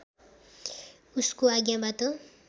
उसको आज्ञाबाट